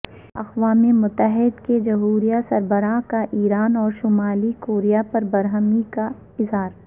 اقوام متحدہ کے جوہری سربراہ کا ایران اور شمالی کوریا پربرہمی کا اظہار